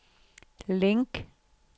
link